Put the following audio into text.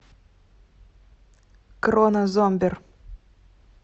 кронно зомбер